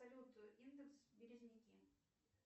салют индекс березники